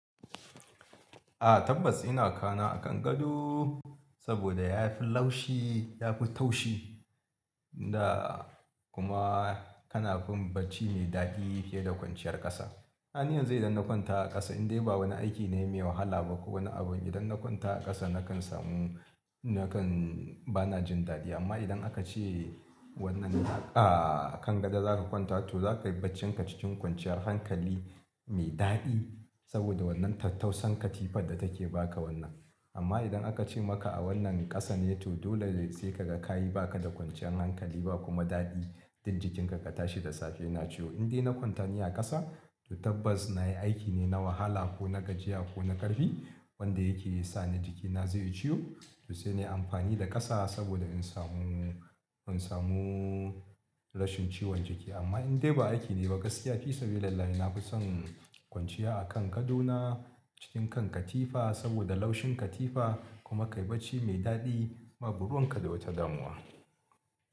A tabbas ina kana a kan gado saboda yafi laushi, yafi taushi da kuma kana fin bacci mai daɗi fiye da kwanciyar ƙasa. Dan iya zai idan na kwanta a ƙasa indai ba wani aiki ne mai wahala ba ko wani abu idan na kwanta a ƙasa nakan samu nakan bana jin daɗi amma idan aka ce wannan a kan gado zaka kwanta to zaka yi bacci kancicin kwanciyar hankali mai daɗi saboda wannan tattausan katifar da take baka wannan. Amma idan aka ce maka a wannan ƙasa ne to dole sai kaga kayi baka da kwanciyar hankali ba kuma daɗi. Jin jikinka ka tashi da safe na ciwo indai na kwanta ni a ƙasa to tabbas na yi aiki ne na wahala ko na gajiya ko na ƙarfi wanda yake sani jikina zai yi ciwo to sai nayi amfani da ƙasa saboda in samu in samu rashin ciwon jiki. Amma indai ba aiki ne ba gaskiya fisabilillahi nafison kwanciya a kan kadona cikin kan katifa saboda laushin katifa kuma ka yi bacci mai daɗi ma babu ruwan ka da wata damuwa.